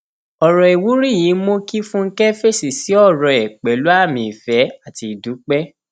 ọrọ ìwúrí yìí mú kí fúnkẹ fèsì sí ọrọ ẹ pẹlú àmì ìfẹ àti ìdúpẹ